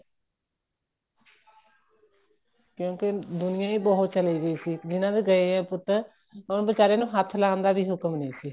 ਕਿਉਂਕਿ ਦੁਨੀਆਂ ਹੀ ਬਹੁਤ ਚੱਲੀ ਗਈ ਸੀ ਜਿਹਨਾ ਦੇ ਗਏ ਹੈ ਪੁੱਤ ਉਹਨਾ ਬੀਚਾਰੇ ਨੂੰ ਹੱਥ ਲਾਉਣ ਦਾ ਵੀ ਹੁਕਮ ਨਹੀਂ ਸੀ